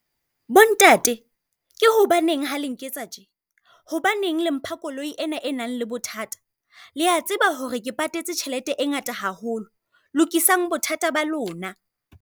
Bo ntate, ke hobaneng ha la nketsa tje? Hobaneng le mpha koloi ena e nang le bothata? Le a tseba hore ke patetse tjhelete e ngata haholo, lokisang bothata ba lona.